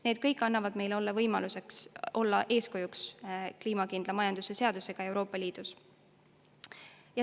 Need kõik annavad meile võimaluse olla kliimakindla majanduse seadusega Euroopa Liidus eeskujuks.